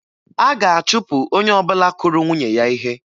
A ga-achụpụ onye ọbụla kụrụ nwunye ya ihe